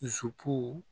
Dusu